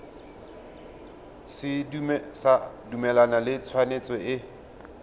sa dumalane le tshwetso e